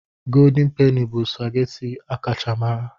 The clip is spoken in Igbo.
Golden Peni bụ supageti a kacha mara.